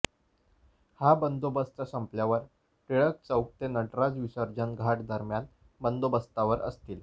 हा बंदोबस्त संपल्यावर टिळक चौक ते नटराज विसर्जन घाट दरम्यान बंदोबस्तावर असतील